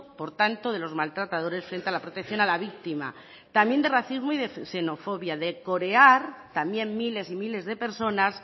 por tanto de los maltratadores frente a la protección a la víctima también de racismo y xenofobia de corear también miles y miles de personas